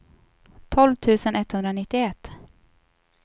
tolv tusen etthundranittioett